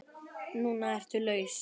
Núna ertu laus.